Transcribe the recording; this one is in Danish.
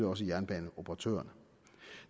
også jernbaneoperatørerne